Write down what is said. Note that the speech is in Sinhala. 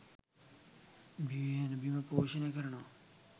බිහිවෙන බිම පෝෂණය කරනවා